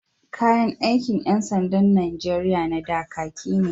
Kayan aikin ƴan sandan Nijeriya na da, kaki ne.